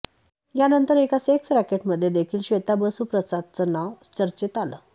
यानंतर एका सेक्स रॅकेटमध्ये देखील श्वेता बसू प्रसादचं नाव चर्चेत आलं